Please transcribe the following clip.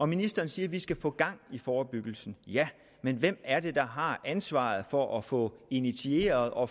ministeren siger at vi skal få gang i forebyggelsen ja men hvem er det der har ansvaret for at få initieret og